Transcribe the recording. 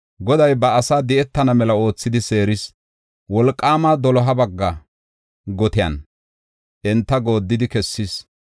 Goday ba asaa di7etana mela oothidi seeris; wolqaama doloha bagga gotiyan enta gooddidi kessis.